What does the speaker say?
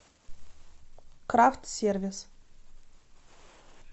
крафт сервис